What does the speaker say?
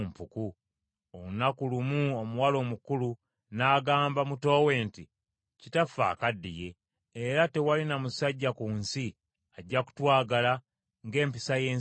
Olunaku lumu omuwala omukulu n’agamba muto we nti, “Kitaffe akaddiye era tewali na musajja ku nsi ajja kutwagala ng’empisa y’ensi bw’eri.